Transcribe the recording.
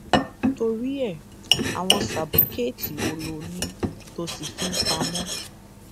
torí ẹ àwọn sábúkẹẹtì wo lo ní tóo ṣì ń fi pamọ